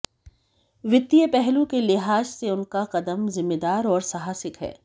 वित्तीय पहलू के लिहाज से उनका कदम जिम्मेदार और साहसिक है